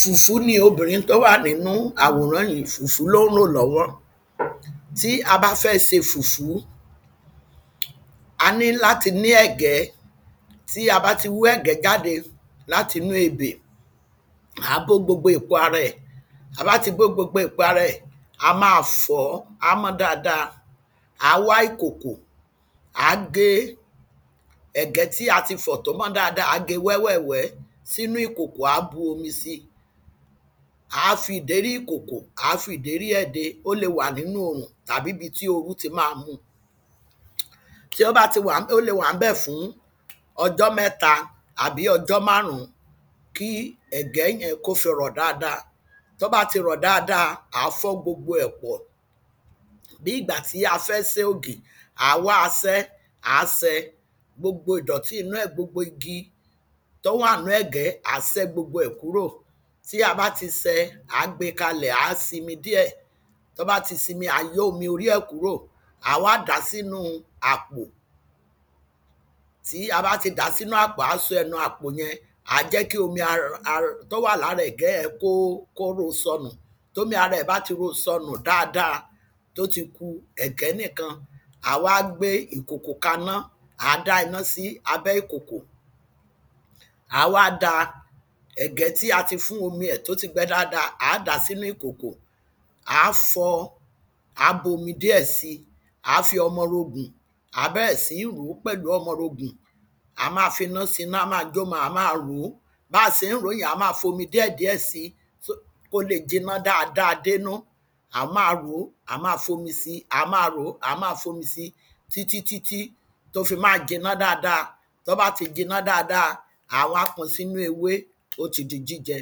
fùfú ni obìrin tó wà nínú àwòrán yìí fùfú ló ń rò lọ́wọ́ tí a bá fẹ́ ṣe fùfú a ní láti ní ẹ̀gẹ́ tí a bá ti wú ẹ̀gẹ́ jáde láti inú ebè àá bó gbogbo èpo ara ẹ̀ tabá ti bó gbogbo èpo ara ẹ̀ a máa fọ̀ọ́ á mọ́ dáadáa àá wá ìkòkò àá gé ẹ̀gẹ́ tí a ti fọ̀ tó mọ́ dáadáa àá ge wẹ́wẹ̀wẹ́ sínú ìkòkò àá bomi si àá fi ìdérí ìkòkò àá fi ìdérí ẹ̀ de kó lè wà nínú òrùn tàbí ibi tí oru ti máa mu tí ó bá ti wà ń bẹ̀ ó le wà ńbẹ̀ fún ọjọ́ mẹ́ta tàbí ọjọ́ márùn-ún kí ẹ̀gẹ́ yẹn kí ó fi rọ̀ dáadáa tó bá ti rọ̀ dáadáa àá fọ́ gbogbo ẹ̀ pọ̀ bí ìgbà tí a fẹ́ sẹ́ ògì àá wá asẹ́ aá ṣe, gbogbo ìdọ̀tí inú ẹ̀ gbogbo igi tó wà nínú ẹ̀gẹ́ àá sẹ́ gbogbo ẹ̀ kúrò tí a bá ti ṣe àá gbe kalẹ̀ á simi díẹ̀ tí ó bá ti simi á yọ́ omi orí ẹ̀ kúrò àwá dàá sínú àpò tí a bá ti dàá sínú àpò àá so ẹnu àpò yẹn àá jẹ́ kí omi ara tó wà lára ẹ̀gẹ́ yẹn kó ro sọ̀nù tí omi ẹ̀ bá ti ro sọnù dáadáa tí ó ti ku ẹ̀gẹ́ nìkan àá wá gbé ìkòkò kaná àá dá iná sí abẹ́ ìkòkò àá wá da ẹ̀gẹ́ tí a ti fún omi ẹ̀ tó ti gbẹ dáadáa àá dàá sínú ìkòkò àá fọ àá bu omi díẹ̀ sí àá fi ọmọ orogùn àá bẹ̀rẹ̀ sí ní ròó pẹ̀lú ọmọ orogùn a máa fi ná si iná á máa jómọ a máa ròó bá ṣe ń ròó yẹn àá máa fomi díẹ̀díẹ̀ si kó le jiná dáadáa dénú àá máa ròó àá máa fomi si àá máa fomi si títítítí tó fi máa jẹná dáadáa tó bá ti jiná dáadáa àá wá ko sínú ewé ó ti di jíjẹ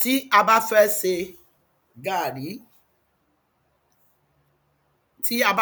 tí a bá fẹ́ se gaàrí. tí a bá